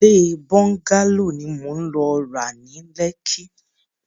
Ilé bọ́ńgálò ni mò ń lọ ra ni Lekki.